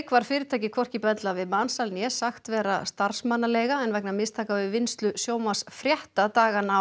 var fyrirtækið hvorki bendlað við mansal né sagt vera starfsmannaleiga en vegna mistaka við vinnslu sjónvarpsfrétta dagana á